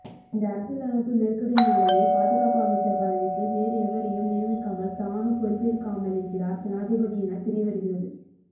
இந்த அரசியலமைப்பு நெருக்கடியினாலேயே பாதுகாப்பு அமைச்சர் பதவிக்கு வேறெவரையும் நியமிக்காமல் தானும் பொறுப்பேற்காமலிருக்கிறார் ஜனாதிபதி எனத் தெரியவருகிறது